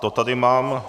To tady mám...